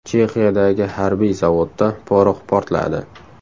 Chexiyadagi harbiy zavodda porox portladi.